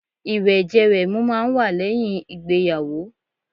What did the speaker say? Ìwẹ̀jẹ-wẹ̀mu máà ń wà lẹ́yìn ìgbéyàwó